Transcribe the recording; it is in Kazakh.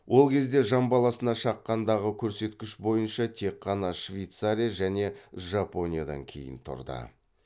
ол кезде жан басына шаққандағы көрсеткіш бойынша тек қана швейцария және жапониядан кейін тұрды